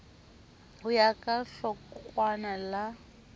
ho ya ka hlokwana la